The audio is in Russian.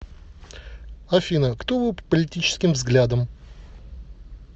афина кто вы по политическим взглядам